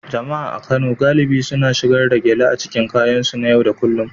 Jama'a a Kano galibi suna shigar da gele a cikin kayansu na yau da kullun